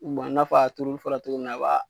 n'a fɔ a turuli fɔra cogo min na , a b'a